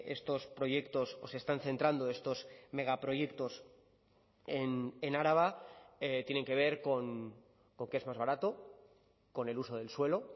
estos proyectos o se están centrando estos megaproyectos en araba tienen que ver con que es más barato con el uso del suelo